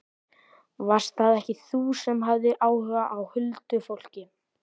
Varst það ekki þú sem hafðir áhuga á huldufólki?